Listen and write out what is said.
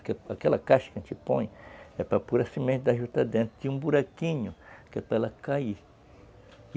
Aquela caixa que a gente põe é para pôr a semente da juta dentro de um buraquinho, que é para ela cair.